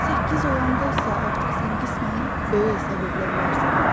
Səkkiz olanda isə artıq sən qismən böyük hesab edilə bilərsən.